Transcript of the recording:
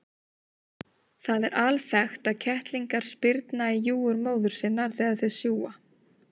Það er alþekkt að kettlingar spyrna í júgur móður sinnar þegar þeir sjúga.